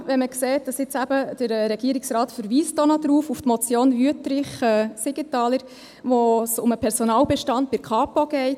Dies vor allem, wenn man sieht, dass der Regierungsrat auch noch auf die Motion Wüthrich, Siegenthaler verweist, bei der es um den Personalbestand bei der Kantonspolizei (Kapo) geht.